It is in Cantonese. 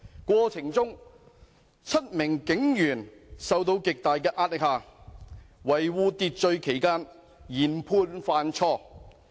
過程中 ，7 名警員在受到極大的壓力下，在維護秩序期間研判犯錯。